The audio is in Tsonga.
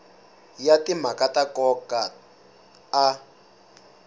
ya timhaka ta nkoka a